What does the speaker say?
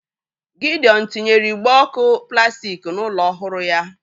Gidiọn tinyere igbe ọ̀kụ plastik n'ụlọ ọhụrụ ya